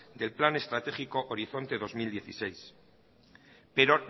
del plan estratégico horizonte dos mil dieciséis pero